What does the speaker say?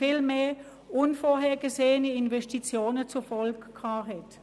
Vielmehr waren unvorhergesehene Investitionen die Folge.